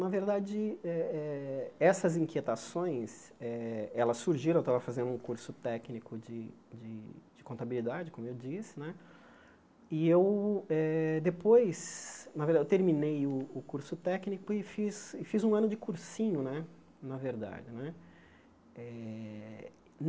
Na verdade, eh eh essas inquietações eh elas surgiram, eu estava fazendo um curso técnico de de de contabilidade, como eu disse né, e eu eh depois na verda eu terminei o o curso técnico e fiz e fiz um ano de cursinho né, na verdade né. Eh